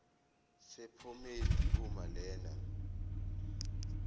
sephomedi uma lena